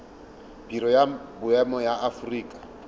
biro ya boemo ya aforika